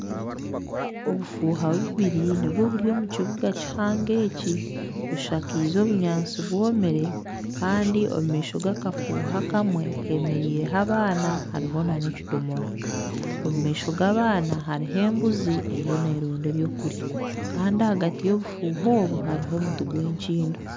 Obufuha bubiri nibwo buri omu kibuga kihango eki bushakize obunyansi bwomire Kandi omumaisho g'akafuha akamwe hemereireho abaana hamwe n'ekidomora omumaisho g'abaana haruho embuzi eriyo neronda ebyokurya Kandi ahagati yobufuha obu hariho omuti gw'enkindo.